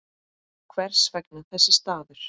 Hvers vegna þessi staður?